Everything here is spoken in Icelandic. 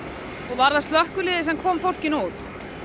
var það slökkviliðið sem kom fólkinu út